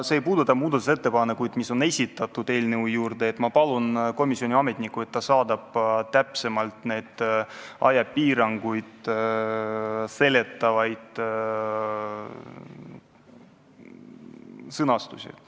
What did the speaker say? See ei puuduta muudatusettepanekuid, mis eelnõu kohta on esitatud, ja ma palun komisjoni ametnikku, et ta saadab teile need ajapiirangud ja seletab ka muud.